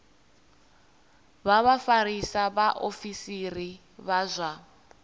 vha vhafarisa vhaofisiri vha zwa